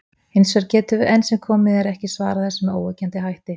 Hins vegar getum við enn sem komið er ekki svarað þessu með óyggjandi hætti.